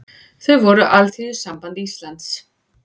Þau voru Alþýðusamband Íslands